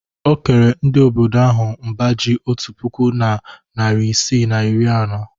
O kere ndị obodo ahụ mbá ji otu puku na narị isii na iri anọ.